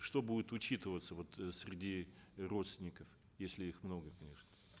что будет учитываться вот э среди э родственников если их много конечно